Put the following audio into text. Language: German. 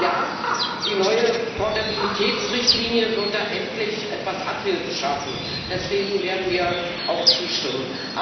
Ja, die neue Portabilitätsrichtlinie wird da endlich etwas Abhilfe schaffen, deswegen werden wir auch zustimmen.